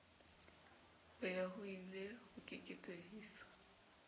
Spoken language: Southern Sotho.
ho ya hoile a keketehisa